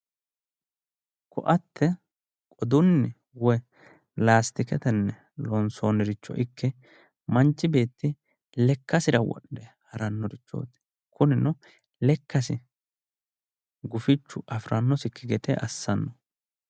koatte qodunni woyi laastiketenni loonsoonnirichoikke manchi beetti lekkasira wodhe harannorichooti kunino lekkasi gufichu afirannosikki gede assanno.